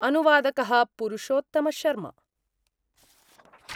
अनुवादक: पुरुषोत्तमशर्मा